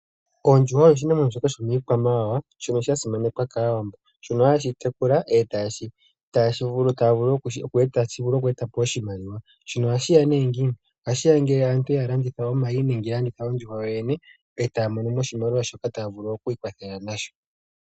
Ondjuhwa oyo oshinamwenyo shomiikwamawawa shono sha simanekwa kAawambo. Shono hashi tekulwa e tashi vulu oku eta po oshimaliwa. Shino ohashi ya nee ngiini? Ohashi ya ngele aantu ya landitha omayi nenge ya landitha ondjuhwa yoyene e taya mono mo oshimaliwa shoka taya vulu okwiikwathela nasho.